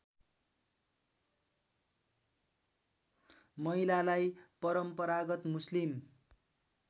महिलालाई परम्परागत मुस्लिम